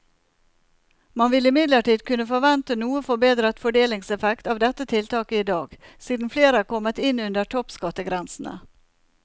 Man vil imidlertid kunne forvente noe forbedret fordelingseffekt av dette tiltaket i dag, siden flere er kommet inn under toppskattgrensene.